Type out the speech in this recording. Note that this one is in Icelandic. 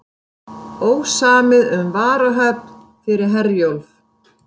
Ósamið um varahöfn fyrir Herjólf